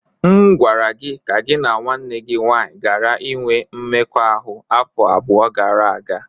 M gwara gị ka gị na nwanne gị nwanyị ghara inwe mmekọahụ afọ abụọ gara aga!